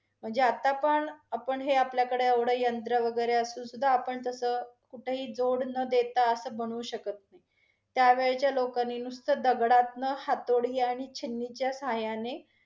म्हणजे आता पण, आपण हे आपल्याकडे एवढं यंत्र वगेरे असून सुधा, आपण तस कुठंही जोड न देता अस बनवू शकत नाही. त्यावेळच्या लोकांनी नुसत दगडातन हातोडी आणि छन्नीच्या साहाय्याने